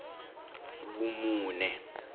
vumune